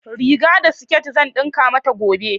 Riga da siket zan ɗinka mata gobe.